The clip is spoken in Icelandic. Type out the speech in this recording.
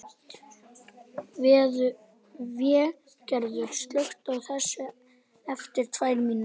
Végerður, slökktu á þessu eftir tvær mínútur.